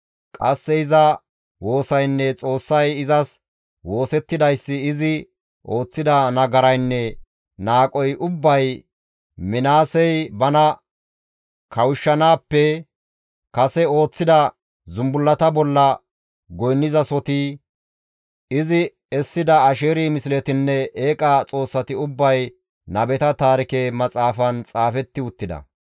Qasse iza woosaynne Xoossay izas woosettidayssi, izi ooththida nagaraynne naaqoy ubbay Minaasey bana kawushshanaappe kase ooththida zumbullata bolla goynnizasoti, izi essida Asheeri misletinne eeqa xoossati ubbay nabeta Taarike Maxaafan xaafetti uttida.